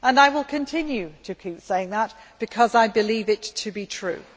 I will continue to keep saying that, because I believe it to be true.